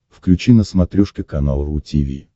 включи на смотрешке канал ру ти ви